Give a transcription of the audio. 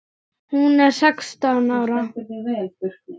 Hún er sextán ára.